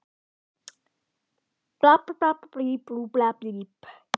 Jú, þarna stendur ský skrifað fallegri rithönd.